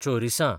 चोरिसां